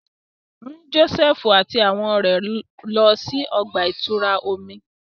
Mu Josefu ati awọn ọrẹ rẹ lọ si ọgba-ìturá ti omi!